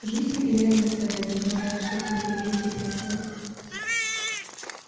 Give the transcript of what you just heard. в жизни и реальных страданий хватает чтобы их лелеять и пестовать